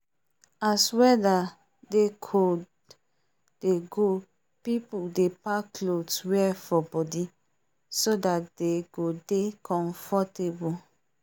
as weather they cold dey go people dey pack clothes wear for body so that dey go dey comfortable